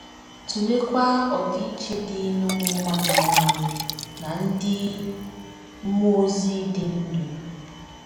Tụleekwa ọdịiche dị n’ụmụ mmadụ nwụrụ anwụ na ndị mmụọ ozi dị ndụ.